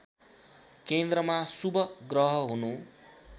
केन्द्रमा शुभ ग्रह हुनु